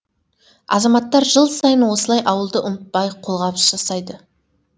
азаматтар жыл сайын осылай ауылды ұмытпай қолғабыс жасайды